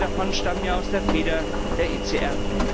Einige davon stammen aus der Feder der ECR.